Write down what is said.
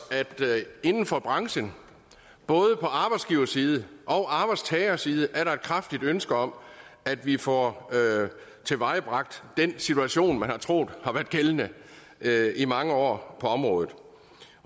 at inden for branchen både på arbejdsgiverside og arbejdstagerside er der et kraftigt ønske om at vi får tilvejebragt den situation man har troet har været gældende i mange år på området